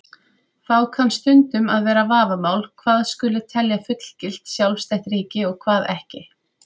Þá kann stundum að vera vafamál hvað skuli telja fullgilt, sjálfstætt ríki og hvað ekki.